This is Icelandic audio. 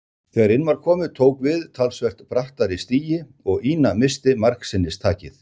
Þegar inn var komið tók við talsvert brattari stigi og Ína missti margsinnis takið.